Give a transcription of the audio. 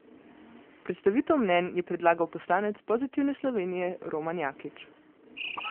Predstavitev mnenj je predlagal poslanec Pozitivne Slovenije Roman Jakič.